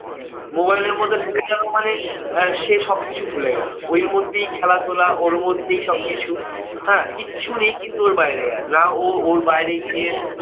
mobile এর মধ্যে ঢুকে গেলো মানে আহ সে সবকিছু ভুলে গেলো। ওর মধ্যেই খেলাধুলা ওর মধ্যেই সবকিছু। হ্যাঁ কিচ্ছু নেই কিন্তু ওর বাইরে আর, না ও ওর বাইরে গিয়ে